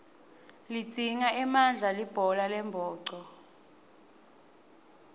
lidzinga emandla libhola lembhoco